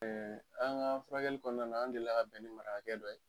Ɛɛ an ka furakɛli kɔnɔna na, an dila ka bɛn ni marakakɛ dɔ ye